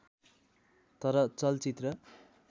तर चलचित्र